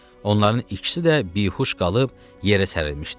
Onların ikisi də bihuş qalıb yerə sərilmişdi.